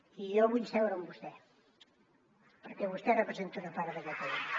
i jo vull seure amb vostè perquè vostè representa una part de catalunya